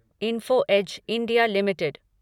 info edge India limited